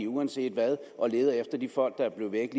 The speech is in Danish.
uanset hvad og leder efter de folk der er blevet